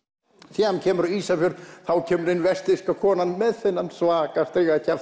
síðan kemur Ísafjörður þá kemur ein vestfirska konan með þennan svaka